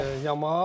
Yamal.